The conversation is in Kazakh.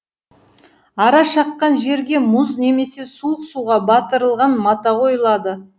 ара шаққан жерге мұз немесе суық суға батырылған мата қойылады